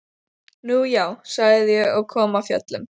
Nú já, sagði ég og kom af fjöllum.